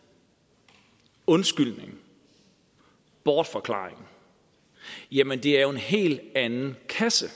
undskyldningen bortforklaringen jamen det er jo en helt anden kasse